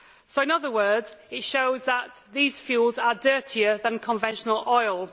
In other words, it shows that these fuels are dirtier than conventional oil.